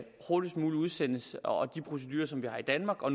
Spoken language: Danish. hurtigst muligt udsendes og at de procedurer som vi har i danmark og